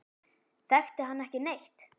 Þekkti hann ekki neitt.